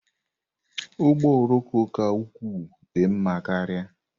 Ụgbọ oloko ka ukwuu dị mma karịa.